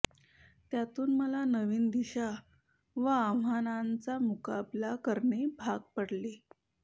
त्यातून मला नवीन दिशा व आव्हानांचा मुकाबला करणे भाग पडले